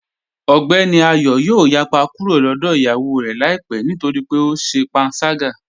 Ogbẹ́ni Ayọ̀ yoo yàpá kúrò lọ́dọ̀ iyáwó rẹ laipẹ̀ nítorí pé ọ ṣè pànságá